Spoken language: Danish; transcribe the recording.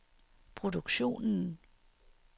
produktionen